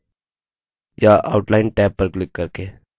या outline tab पर click करके